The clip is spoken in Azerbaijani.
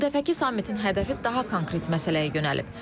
Bu dəfəki sammitin hədəfi daha konkret məsələyə yönəlib.